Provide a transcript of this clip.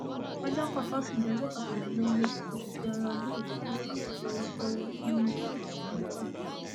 ọjọkọ toṣídéé ọjọ kọkànlélógún oṣù kẹrin ọdún yìí ni wọn yóò fẹẹrù fún eérú nínú ààfin olùkọyí